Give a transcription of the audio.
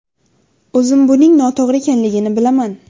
O‘zim buning noto‘g‘ri ekanligini bilaman.